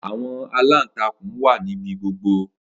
Awọn alantankun wa nibi gbogbo.